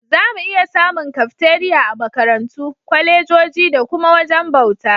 Zamu iya samun Kafteriya a Makarantu, kwalejoji da kuma wajajen bauta.